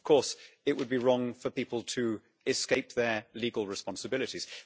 Of course it would be wrong for people to escape their legal responsibilities.